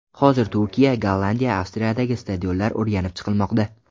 Hozir Turkiya, Gollandiya, Avstriyadagi stadionlar o‘rganib chiqilmoqda.